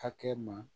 Hakɛ ma